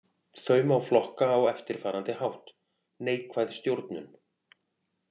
Þau má flokka á eftirfarandi hátt: Neikvæð stjórnun.